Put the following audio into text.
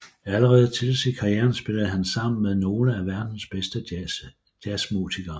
Allerede tidligt i karrieren spillede han sammen med nogle af verdens bedste jazzmusikere